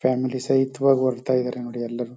family ಸಮೇತವಾಗ್ ಹೊರಡ್ತಾ ಇದರ ನೋಡಿ ಎಲ್ಲರು--